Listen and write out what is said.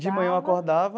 De manhã eu acordava,